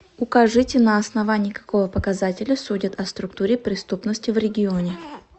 укажите на основании какого показателя судят о структуре преступности в регионе